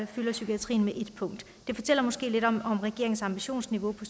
fylder psykiatrien ét punkt det fortæller måske lidt om regeringens ambitionsniveau på